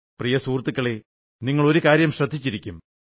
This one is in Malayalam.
പ്രിയ സുഹൃത്തുക്കളേ നിങ്ങൾ ഒരു കാര്യം ശ്രദ്ധിച്ചിരിക്കും